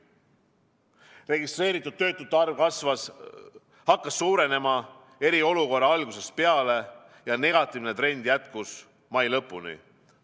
Registreeritud töötute arv hakkas suurenema eriolukorra algusest peale ja negatiivne trend jätkus mai lõpuni.